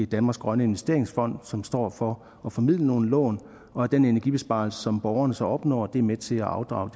danmarks grønne investeringsfond som står for at formidle nogle lån og at den energibesparelse som borgerne så opnår er med til at afdrage